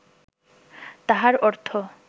তাহার অর্থ